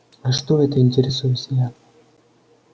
а что это интересуюсь я